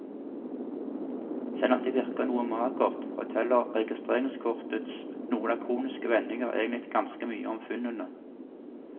Selvom det virker noe magert, forteller registreringskortets noe lakoniske vendinger egentlig ganske mye om funnene.